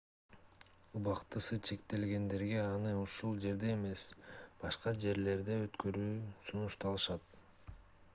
убактысы чектелгендерге аны ушул жерде эмес башка жерлерде өткөрүү сунушталат